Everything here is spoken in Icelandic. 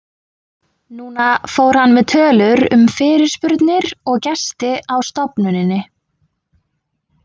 Núna fór hann með tölur um fyrirspurnir og gesti á stofnuninni.